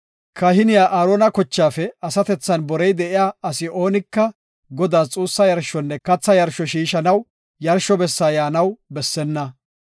Kahiniya Aarona kochaafe asatethan borey de7iya asi oonika Godaas xuussa yarshonne katha yarsho shiishanaw yarsho bessa yaanaw bessenna.